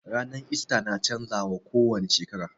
Ranar ista na canza wa ko wani shekara